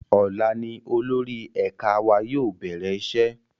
Ọ̀la ni olórí ẹ̀ka wa yóò bẹ̀rẹ̀ iṣẹ́